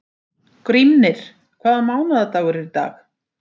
Grímnir, hvaða mánaðardagur er í dag?